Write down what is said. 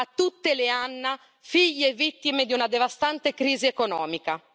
A tutte le Anna figlie e vittime di una devastante crisi economica.